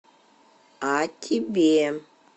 а тебе